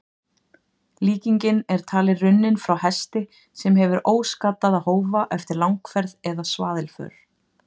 Líkingin er talin runnin frá hesti sem hefur óskaddaða hófa eftir langferð eða svaðilför.